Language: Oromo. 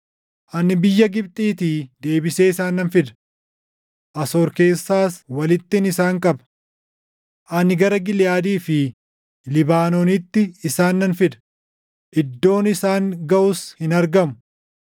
Ani biyya Gibxiitii deebisee isaan nan fida; Asoor keessaas walittin isaan qaba. Ani gara Giliʼaadii fi Libaanoonitti isaan nan fida; iddoon isaan gaʼus hin argamu.